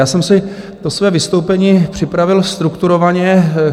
Já jsem si to své vystoupení připravil strukturovaně.